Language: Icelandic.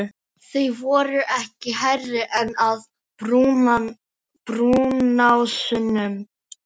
Þau voru ekki hærri en að brúnásunum.